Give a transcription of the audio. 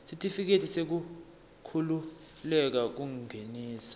sitifiketi sekukhululeka kungenisa